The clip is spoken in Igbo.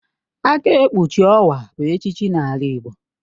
Aka ekpuchi owa bụ echichi n'ala igbo